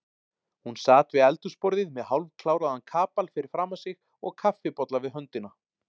Hún sat við eldhúsborðið með hálfkláraðan kapal fyrir framan sig og kaffibolla við höndina.